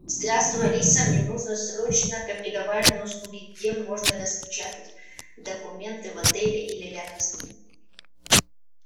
здравствуй алиса мне нужно срочно копировальные услуги где можно распечатать документы в отеле или рядом с ним